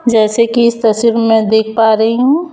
जैसे कि इस तस्वीर में देख पा रही हूं।